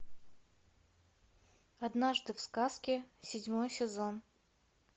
однажды в сказке седьмой сезон